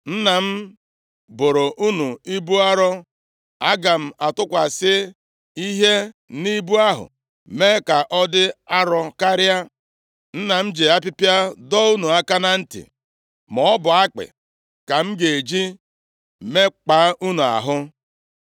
Nna m boro unu ibu arọ; aga m atụkwasị ihe nʼibu ahụ mee ka ọ dị arọ karịa. Nna m ji apịpịa dọọ unu aka na ntị, maọbụ akpị ka m ga-eji mekpaa unu ahụ.’ ”